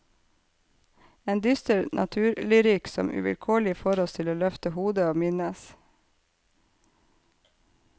En dyster naturlyrikk som uvilkårlig får oss til å løfte hodet og minnes.